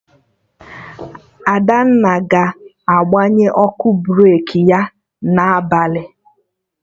Adanna ga-agbanye ọkụ breki ya na abalị